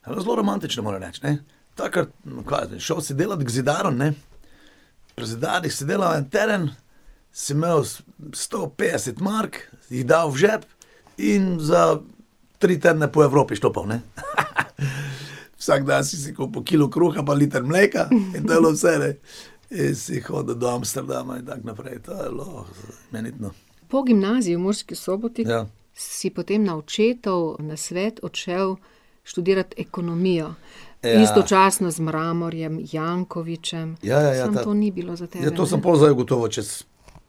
zelo romantično, moram reči, ne. Takrat, kaj jaz vem, šel si delat k zidarju, ne, pri zidarjih se dela en teden, si imel sto petdeset mark, jih dal v žep in za tri tedne po Evropi štopal, ne. Vsak dan si si kupil kilo kruha pa liter mleka in to je bilo vse, ne. In si hodil do Amsterdama in tako naprej, to je bilo imenitno. Po gimnaziji v Murski Soboti Ja. si potem na očetov nasvet odšel študirat ekonomijo. Ja. Istočasno z Mramorjem, Jankovićem ... Ja, ja, ja, ta. Samo to ni bilo za tebe. Ja, to sem pol zdaj ugotovil čez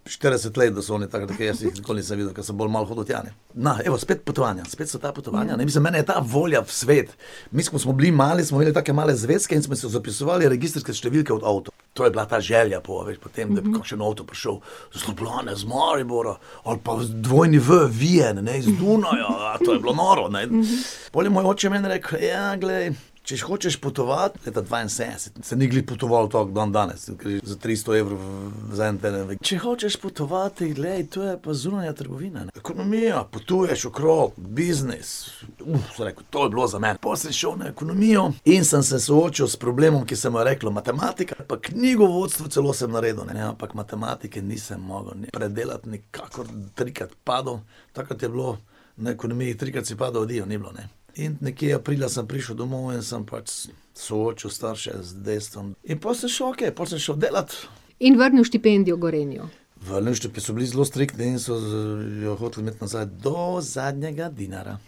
štirideset let, da so oni tako, jaz jih nikoli nisem videl, ko sem bolj malo hodil tja, ne. Na, evo, spet potovanja, spet so ta potovanja, ne, mislim mene je ta volja v svet ... Mi, ko smo bili mali, smo imeli take male zvezke in smo si zapisovali registrske številke od avtov. To je bila ta želja po, veš, po tem, da bi kakšen avto prišel. Iz Ljubljane, iz Maribora ali pa dvojni w, Wien, ne, iz Dunaja, to je bilo noro, ne. Pol je malo oči meni rekel: "Ja, glej, če hočeš potovati, leta dvainsedemdeset se ni glih potoval tako kot dandanes, se gre za tristo evrov v za en . Če hočeš potovati, glej, to, je pa zunanja trgovina, ne. Ekonomija, potuješ okrog, biznis." sem rekel, "to bi bilo za mene." Pol sem šel na ekonomijo in sem se soočil s problemom, ki se mu je reklo matematika, pa knjigovodstvo celo sem naredil, ne, ampak matematike nisem mogel predelati nikakor, trikrat padel, takrat je bilo na ekonomijo, trikrat si padel, adijo, ni bilo, ne. In nekje aprila sem prišel domov in sem pač soočil starše z dejstvom. In pol sem šel okej, pol sem šel delati ... In vrnil štipendijo Gorenju. Vrnil so bili zelo striktni in so jo hoteli imeti nazaj, do zadnjega dinarja.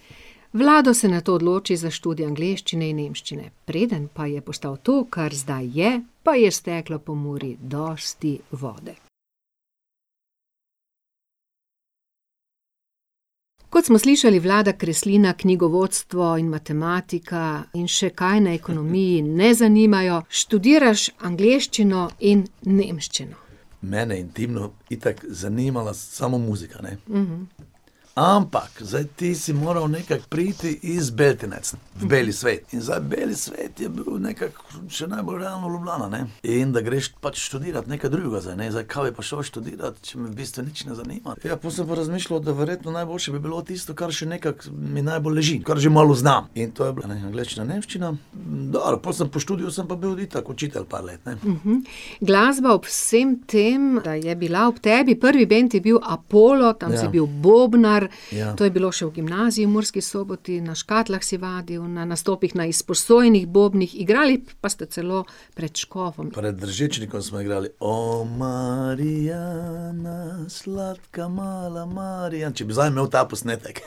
Vlado se nato odloči za študij angleščine in nemščine. Preden pa je postal to, kar zdaj je, pa je steklo po Muri dosti vode. Kot smo slišali, Vlada Kreslina knjigovodstvo in matematika in še kaj na ekonomiji ne zanimajo, študiraš angleščino in nemščino. Mene intimno itak zanimala samo muzika, ne. Ampak, zdaj ti si moral nekako priti iz Beltinec. V beli svet. In zdaj beli svet je bil nekako še najbolj ravno Ljubljana, ne. In da greš pač študirat nekaj drugega zdaj, zdaj, kaj bi pa šel študirat, če me v bistvu nič ne zanima? Ja, pol sem pa razmišljal, da verjetno najboljše bi bilo tisto, kar še nekako mi najbolj leži, kar že malo znam. In to je bila, ne, angleščina, nemščina. Dobro, pol sem po študiju, sem pa bil itak učitelj par let, ne. Glasba ob vsem tem, da je bila ob tebi, prvi band je bil Apollo, tam si bil bobnar ... Ja. To je bilo še v gimnaziji v Murski Soboti, na škatlah si vadil, na nastopih na izposojenih bobnih, igrali pa ste celo pred škofom. Pred Držečnikom smo igrali: O Marija, na sladka mala Marija ... Če bi zdaj imel ta posnetek .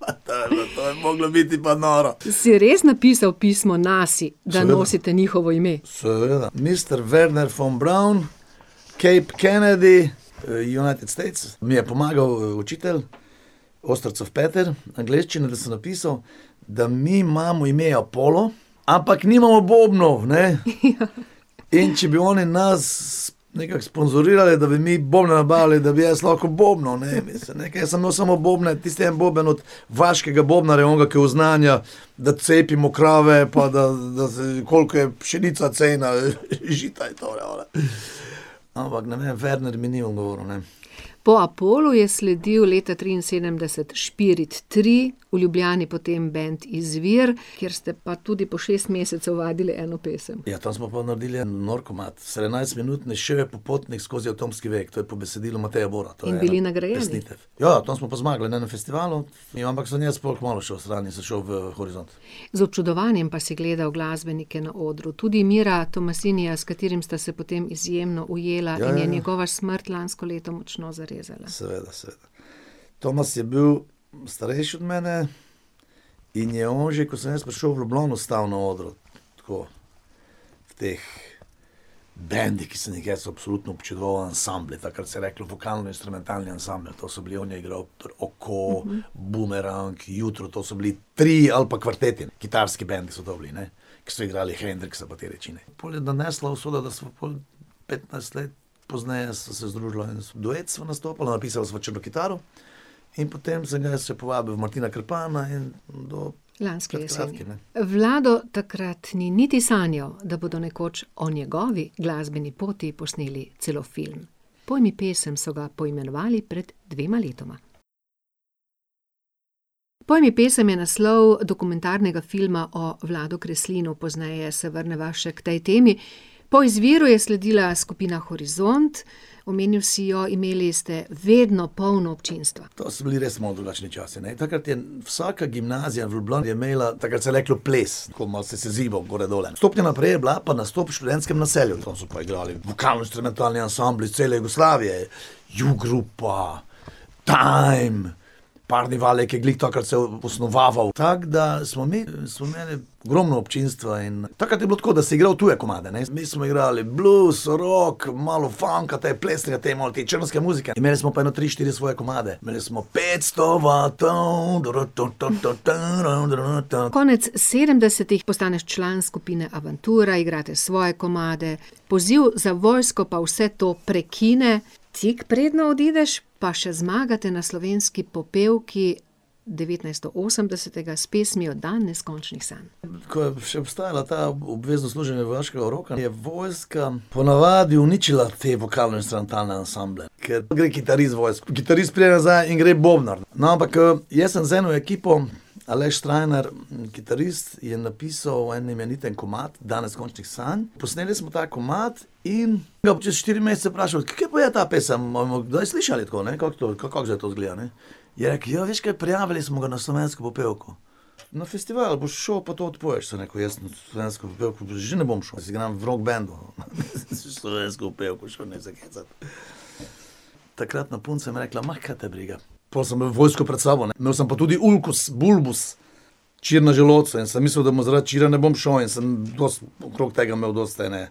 Pa to je bilo, to je moglo biti pa noro. Si res napisal pismo Nasi, da nosite njihovo ime? Seveda. Seveda, mister Wernher von Braun, Kate Kennedy, United States, mi je pomagal učitelj, Ostrcov Peter, angleščino, da sem napisal, da mi imamo ime Apollo, ampak nimamo bobnov, ne. In če bi oni nas nekako sponzorirali, da bi mi bobne nabavili, da bi jaz lahko bobnal, ne, mislim, nekaj samo so imeli bobne, tisti en boben od vaškega bobnarja, onega, ki oznanja, da cepimo krave, pa da, da se ... Koliko je pšenica, cena žita, in tole ona. Ampak ne vem, Wernher mi ni odgovoril, ne. Po Apollu je sledil leta triinsedemdeset Špirit tri, v Ljubljani potem bend Izvir, kjer ste pa tudi po šest mesecev vadili eno pesem. Ja, to smo pa naredili en nor komad, sedemnajstminutni, Šel je popotnik skozi atomski vek, to je po besedilu Mateja Bora. To je pesnika. In bili nagrajeni. Ja, tam smo pa zmagali, ne, na festivalu, in ampak sem jaz pol kmalu šel stran in sem šel v Horizont. Z občudovanjem pa si gledal glasbenike na odru, tudi Mira Tomasinija, s katerim sta se potem izjemno ujela in je njegova smrt lansko leto močno zarezala. Seveda, seveda. Tomas je bil starejši od mene in je on že, ko sem jaz prišel v Ljubljano, stal na odru. Tako, v teh bandih, ki sem jih jaz absolutno občudoval, ansambel, takrat se je reklo, vokalno-instrumentalni ansambel. To so bili, on je igral pri Oko, Bumerang, Jutro, to so bili trii ali pa kvarteti, kitarski band so to bili, ne. Ko so igrali Hendrixa pa te reči, ne. In pol je nanesla usoda, da sem pol, petnajst let pozneje sva se združila, duet sva nastopala, napisala sva Črno kitaro, in potem sem jaz jo povabil Martina Krpana in do Lanske jeseni. pred kratkim, ne. Vlado, takrat ni niti sanjal, da bodo nekoč o njegovi glasbeni poti posneli celo film. Pol mi pesem, so ga poimenovali pred dvema letoma. Pol mi pesem je naslov dokumentarnega filma o Vladu Kreslinu, pozneje se vrneva še k tej temi. Po Izviru je sledila skupina Horizont, omenil si jo, imeli ste vedno polno občinstvo. To so bili res malo drugačni časi, ne, takrat je vsaka gimnazija v Ljubljani, je imela, takrat se je reklo ples, tako malo si se zibal, gore, dole. Stopnja naprej je bila pa nastop v študentskem naselju, tam so pa igrali vokalno-inštrumentalni ansambli iz cele Jugoslavije, Juglup pa Time, Parni Valjak je, glih takrat se je osnovaval, tako da smo mi, smo imeli ogromno občinstva in takrat je bilo tako, da si igral tuje komade, ne, mi smo igrali blues, rock, malo funka, ti plesni ali te malo te črnske muzike, imeli smo pa ene tri, štiri svoje komade, imeli smo: petsto vatov, ... Konec sedemdesetih postaneš član skupine Avantura, igrate svoje komade, poziv za v vojsko pa vse to prekine. Tik preden odideš, pa še zmagate na Slovenski popevki devetnajststo osemdesetega s pesmijo Dan neskončnih sanj. Ke je še obstajalo to obvezno služenje vojaškega roka, je vojska ponavadi uničila te vokalno-instrumentalne ansamble. Ker, gre kitarist v vojsko, kitarist pride nazaj in gre bobnar. No, ampak, jaz sem z eno ekipo, Aleš Strajnar, kitarist, je napisal en imeniten komad, Dan neskončnih sanj, posneli smo ta komad in ga čez štiri mesece vprašali: "Kje pa je ta pesem, bomo kdaj slišali to, ne, kako to, kako zdaj to izgleda, ne?" Je rekel: "Ja, veš kaj, prijavili smo ga na Slovensko popevko. Na festival boš šel pa to odpoješ." Sem rekel: "Jaz na Slovensko popevko že ne bom šel, jaz igram v rock bandu." "Slovensko popevko šel, ne se hecati." Takratna punca mi je rekla: kaj te briga." Pol sem imel vojsko pred sabo, ne, imel sem pa tudi ulkus bulbus, čir na želodcu, in sem mislil, da bomo, zaradi čira ne bom šel, in sem dosti okrog tega imel dosti ene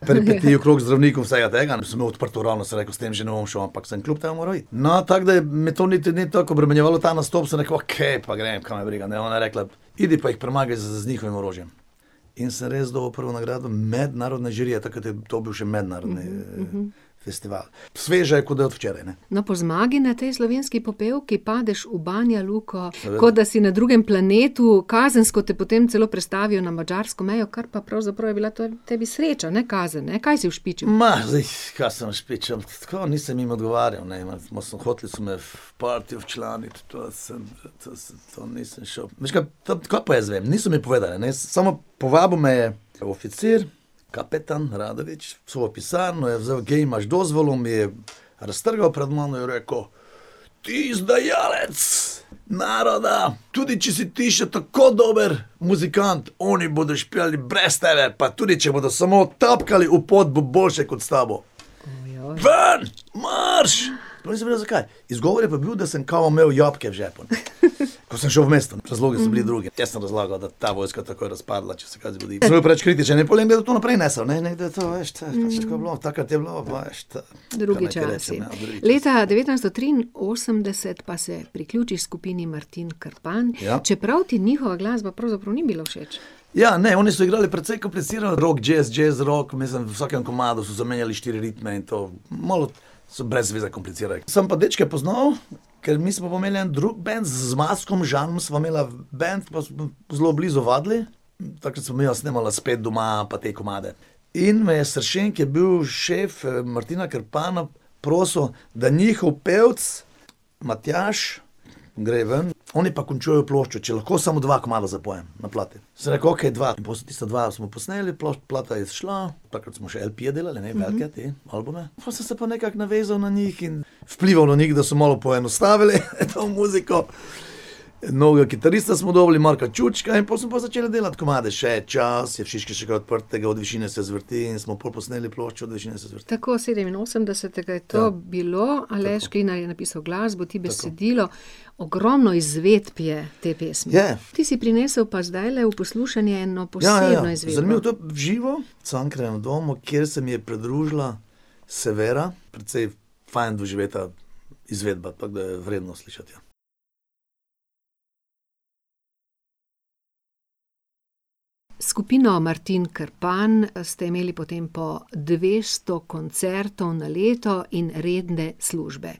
okrog zdravnikov, vsega tega, in sem imel odprto rano, sem rekel: "S tem že ne bom šel." Ampak sem kljub temu moral iti. No, tako da je, me to niti ni toliko obremenjevalo, ta nastop, sem rekel: "Okej, pa grem, kaj me briga, ne." Je ona rekla: "Pojdi pa jih premagaj z njihovim orožjem." In sem res dobil prvo nagrado mednarodne žirije, takrat je to bil še mednarodni, festival. Sveža je kot, da je od včeraj, ne. No, po zmagi na tej Slovenski popevki padeš v Banjaluko kot da si na drugem planetu, kazensko te potem celo prestavijo na madžarsko mejo, kar pa pravzaprav je bila to tebi sreča, ne kazen, ne, kaj si ušpičil? glih, kaj sem ušpičil, v tako, nisem jim odgovarjal, ne, so hoteli, so me v partijo včlaniti, to je, samo, to sem, to nisem šel ... Veš kaj, ta, kaj pa jaz vem, niso mi povedali, ne, samo povabil me je tam oficir, kapetan Radovič, v svojo pisarno, je vzel: "Ke imaš, dozvalo mi je." Raztrgal pred mano in rekel: "Ti izdajalec naroda! Tudi če si ti še tako dobro muzikant, oni bodo špilali brez tebe, pa tudi če bodo samo tapkali v pod, bo boljše kot s tabo. Ven! Marš!" Sploh nisem vedel, zakaj. Izgovor je pa bil, da sem kao imel jabolka v žepu. Ko sem šel v mesto. Ta zlobni so bili drugi, ti so razlagali, da ta vojska takoj razpadla, če se kaj zgodi. in pol je to nekdo naprej nesel, ne, in nekdo to, veš, to je pač tako bilo, takrat je bilo . Drugi časi. Kaj naj rečem, ja . Leta devetnajststo triinosemdeset pa se priključiš skupini Martin Krpan. Ja. Čeprav ti njihova glasba pravzaprav ni bila všeč. Ja, ne, oni so igrali precej kompliciran rock, jazz, džez, rock, mislim, v vsakem komadu so zamenjali štiri ritme in to, malo so brez veze komplicirali. Sem pa dečke poznal, ker mi smo pa imeli en drug band, z Zmazkom Žanom sva imela band, pa smo zelo blizu vadili, takrat sva midva snemala Spet doma pa te komade. In me je Sršen, ki je bil šef, Martina Krpana, prosil, da njihov pevec Matjaž gre ven, oni pa končujejo ploščo, če lahko samo dva komada zapojem na plati. Sem rekel, okej, dva. Pol tista dva smo posneli, pol plata je izšla, takrat smo še delali, ne, , albume pol, sem se pa nekako navezal na njih in vplival na njih, da so malo poenostavili to muziko, novega kitarista smo dobili, Marka Čučka, in pol smo pa začel delati komade: Še je čas, Je v Šiški še kaj odprtega, Od višine se zvrti in smo pol posneli ploščo od Višine se zvrti. Tako, sedeminosemdesetega je to bilo, Aleš Klinar je napisal glasbo, ti besedilo, ogromno izvedb je te pesmi. Je. Ti si prinesel pa zdajle v poslušanje eno posebno izvedbo. Ja, ja, sem imel tudi v živo, v Cankarjevem domu, kjer se mi je pridružila Severa, precej fajn doživeta izvedba, pa da jo je vredno slišati, ja. S skupino Martin Krpan ste imeli potem po dvesto koncertov na leto in redne službe.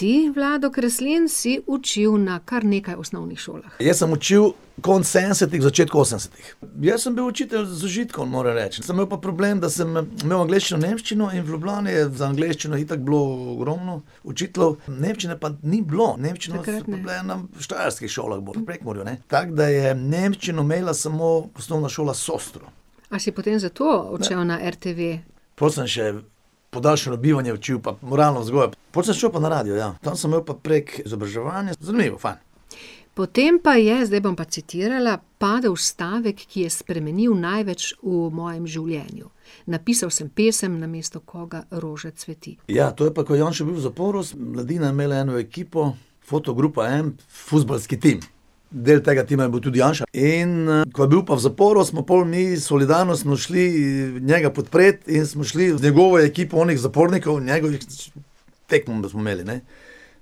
Ti, Vlado Kreslin, si učil na kar nekaj osnovnih šolah. Jaz sem učil konec sedemdesetih, v začetku osemdesetih. Jaz sem bil učitelj z užitkom, moram reči. Sem imel pa problem, da sem imel angleščino, nemščino, in v Ljubljani je za angleščino itak bilo ogromno učiteljev, nemščine pa ni bilo, nemščine so bile na štajerskih šolah bolj, v Prekmurju, ne. Tako da je nemščino imela samo Osnovna šola Sostro. A si potem zato odšel na RTV? Pol sem še podaljšanje bivanje učil pa moralno vzgojo. Pol sem šel pa na radio, ja. Tam sem imel pa prek izobraževanja, zanimivo, fajn. Potem pa je, zdaj bom pa citirala: "Padel stavek, ki je spremenil največ v mojem življenju. Napisal sem pesem Namesto koga roža cveti." Ja, to je pa, ko je Janša bil v zaporu, mladina je imela eno ekipo, Fotogrupa Vem, fuzbalski tim. Del tega tima je bil tudi Janša in, ko je bil pa v zaporu, smo pol mi solidarno smo šli njega podpret in smo šli z njegovo ekipo onih zapornikov, njegovih, tekmo, da smo imeli, ne.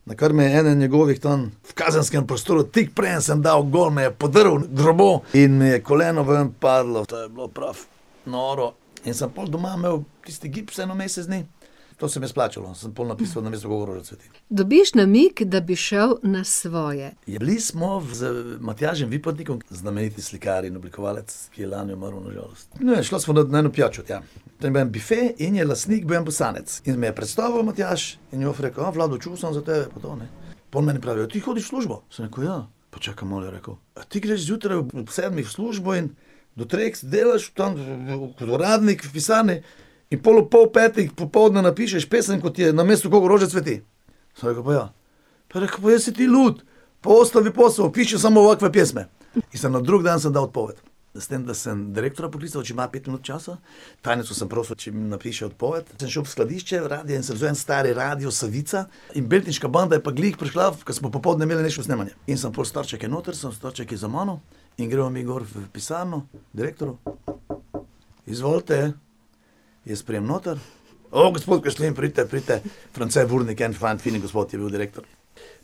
Na kar me eden njegovih tam v kazenskem prostoru, tik preden sem dal gol, me je podrl v drevo in mi je koleno ven padlo, to je bilo prav noro. In sem pol doma imel tisti gips en mesec dni, to se mi je splačalo, sem pol napisal Namesto koga roža cveti. Dobiš namig, da bi šel na svoje. Je bili smo z Matjažem Vipotnikom, znameniti slikar in oblikovalec, ki je lani umrl na žalost. Ne, sva šla na eno pijačo tja. Tam je bil en bife in je na sliki bil en Bosanec. In me je predstavil Matjaž in je on rekel: "O, Vlado, čul sem za tebe, pa to, ne." Pol meni pravijo: "Ti hodiš v službo?" Sem rekel: "Ja." "Pa čakaj malo," je rekel, a ti greš zjutraj ob sedmih v službo in do treh delaš tam kot uradnik v pisarni in pol ob pol petih popoldne napišeš pesem, kot je Namesto koga roža cveti?" Sem rekel: "Pa ja." Pa je rekel: "Pa ja si ti lud. Pa pa piši samo otve pjesme." Mislim, na drug dan sem dal odpoved. S tem da sem direktorja poklical, če ima pet minut časa, tajnico sem prosil, če mi napiše odpoved, sem šel v skladišče radia in sem vzel en stari radio Savica in Beltinška banda je pa glih prišla, ko smo popoldne imeli še snemanje. In sem pol starčke notri, so starčki za mano, in gremo mi gor v pisarno, direktor! Izvolite. Jaz pridem noter. gospod Kreslin, pridite, pridite, France Burnik, en fajn, fini gospod, je bil direktor.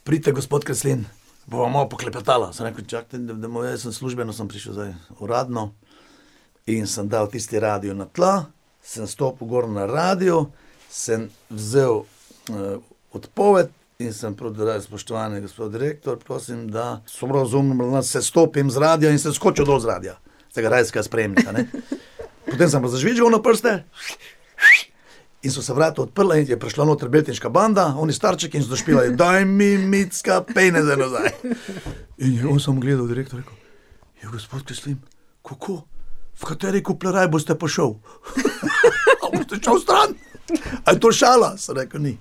Pridite, gospod Kreslin, bova malo poklepetala. Sem rekel: "Čakajte, ne morem jaz, sem službeno sem prišel zdaj, uradno." In sem dal tisti radio na tla, samo stopil gor na radio, sem vzel, odpoved in sem : "Spoštovani gospod direktor, prosim, da sem razumel sestopim z radia, in sem skočil dol z radia." Tega radijskega sprejemnika, ne. Potem sem pa zazvižgal na prste, in so se vrata odprla in je prišla noter Beltinška banda, oni starčki, in so špilali: "Daj mi, Micka, peneze nazaj." In je on samo gledal, direktor, je rekel: gospod Kreslin, kako, v kateri kupleraj boste pa šel? A boste šel stran? A je to šala?" Sem rekel: "Ni."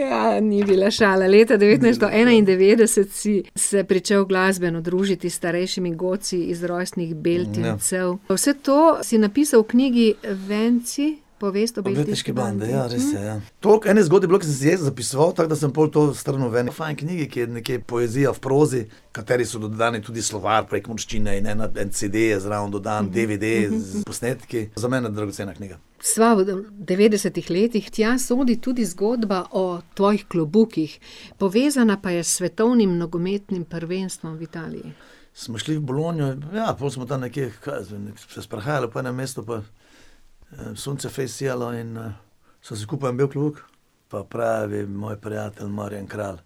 Ja, ni bila šala, leta devetnajststo enaindevetdeset si se pričel glasbeno družiti s starejšimi godci iz rojstnih Beltincev. Pa vse to si napisal v knjigi Venci, povest o Beltinški bandi. O Beltinški bendi, ja, res je, ja. Toliko enih zgodb je bilo, ke sem si jaz zapisoval, tako da sem to pol to strnil v eni fajn knjigi, ki je nekje poezija v prozi, kateri so dodani tudi slovar prekmurščine in ena pa CD je zraven dodan, DVD s posnetki, za mene dragocena knjiga. Sva v devetdesetih letih, tja sodi tudi zgodba o tvojih klobukih. Povezana pa je s svetovnim nogometnim prvenstvom v Italiji. Smo šli v Bologno, ja, pol smo tam nekje, kaj jaz vem, mi smo se sprehajali po enem mestu pa, sonce fejst sijalo in, sem si kupil en bel klobuk, pa pravi moj prijatelj Marjan Kralj: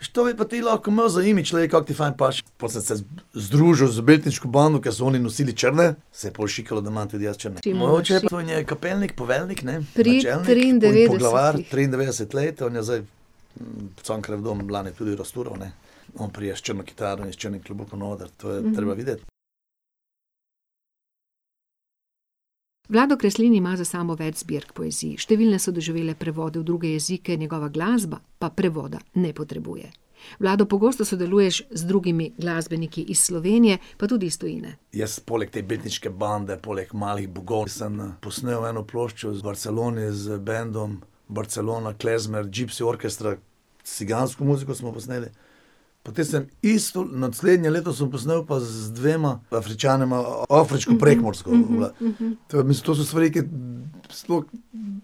"Viš, to bi pa ti lahko imel za imidž, glej, kako ti fajn paše." Pol sem se združil z Beltinško bando, ker so oni nosili črne, se je pol šikalo, da imam tudi jaz črne. šik. je kapelnik, poveljnik, ne. Pri triindevetdesetih. Načelnik, poglavar, triindevetdeset let, on je zdaj v Cankarjevem domu v Ljubljani tudi raztural, ne, on pride s črno kitaro in s črnim klobukom na oder. To je treba videti. Vlado Kreslin ima za sabo več zbirk poezije, številne so doživele prevod v druge jezike, njegova glasba pa prevoda ne potrebuje. Vlado, pogosto sodeluješ z drugimi glasbeniki iz Slovenije, pa tudi iz tujine. Jaz poleg te Beltinške bande, poleg Malih bogov sem, posnel eno ploščo z Barcelone z bandom Barcelona Klezmer Gipsy Orchestra, cigansko muziko smo posneli. Potem sem isto, naslednje leto sem posnel pa z dvema Afričanoma afriško-prekmursko . To je to so stvari, ki sploh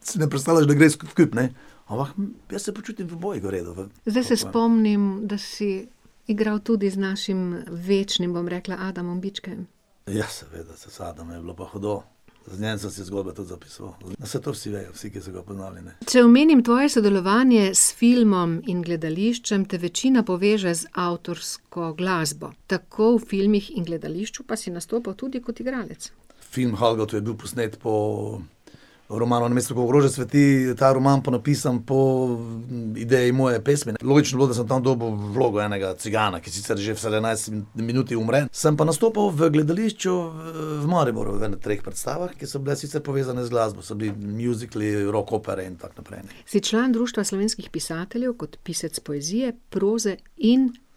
si ne predstavljaš, da gre skupaj, ne. Ampak jaz se počutim v obojih v redu, ne. Zdaj se spomnim, da si igral tudi z našim večnim, bom rekla, Adamom Bičkejem. Ja, seveda, z Adamom je bilo pa hudo. Z njim sem se zgodno tudi dopisoval. Saj to vsi vejo, vsi, ki so ga poznali, ne. Če omenim tvoje sodelovanje s filmom in gledališčem, te večina poveže z avtorsko glasbo. Tako v filmih in gledališču pa si nastopal tudi kot igralec. Film Halgato je bil posnet po romanu Namesto koga roža cveti, ta roman pa napisan po ideji moje pesmi, ne. Logično je bilo, da sem tam dobil vlogo enega cigana, ki sicer že v sedemnajsti minuti umre. Sem pa nastopal v gledališču, v Mariboru, v ene treh predstavah, ki so bile sicer povezane z glasbo. So bili mjuzikli, rock opera in tako naprej. Si član Društva slovenskih pisateljev kot pisec poezije, proze in prevodov.